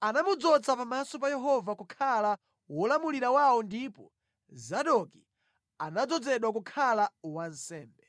Anamudzoza pamaso pa Yehova kukhala wolamulira wawo ndipo Zadoki anadzozedwa kukhala wansembe.